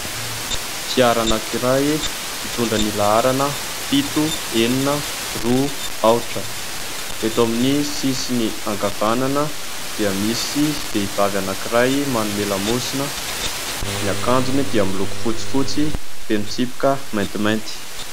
Fiara anankiray, mitondra ny laharana fito, enina, roa, aotra. Eto amin'ny sisiny ankavanana dia misy vehivavy anankiray manome lamosina ; ny akanjony dia miloko fotsi fotsy feno tsipika maintimainty.